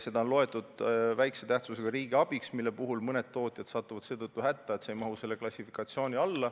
Seda on loetud vähese tähtsusega riigiabiks, mille puhul mõned tootjad satuvad seetõttu hätta, et nad ei mahu sellesse klassifikatsiooni.